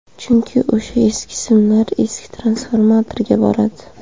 Chunki o‘sha eski simlar eski transformatorga boradi.